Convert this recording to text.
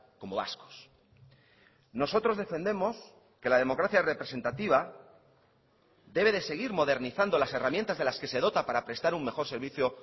como vascos nosotros defendemos que la democracia representativa debe de seguir modernizando las herramientas de las que se dota para prestar un mejor servicio